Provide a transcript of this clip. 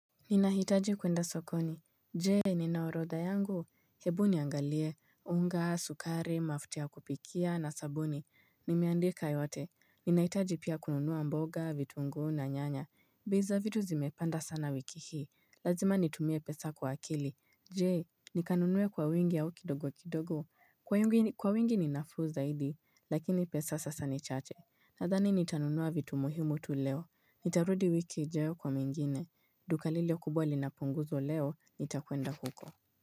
Ninahitaji kuenda sokoni Je ninaorodha yangu Hebu niangalie unga, sukari, mafuai ya kupikia na sabuni Nimeandika yote Ninahitaji pia kununua mboga, vitunguu na nyanya bei za vitu zimepanda sana wiki hii Lazima nitumie pesa kwa akili Je nikanunue kwa wingi au kidogo kidogo Kwa wingi ni nafuu zaidi Lakini pesa sasa ni chache Nadhani nitanunua vitu muhimu tu leo Nitarudi wiki ijayo kwa mwingine duka lile kubwa lina punguzo leo, nitakuenda huko.